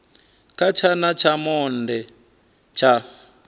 kha tshana tsha monde tsha